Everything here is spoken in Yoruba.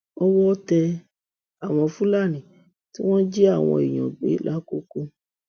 owó tẹ àwọn fúlàní tí wọn ń jí àwọn èèyàn gbé làkoko